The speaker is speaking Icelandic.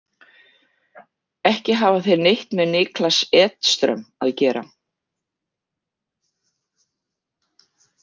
Ekki hafa þeir neitt með Niklas Edström að gera.